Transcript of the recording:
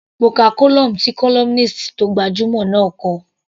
Mo ka column tí columnist tó gbajúmọ̀ náà kọ.